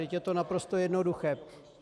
Vždyť je to naprosto jednoduché.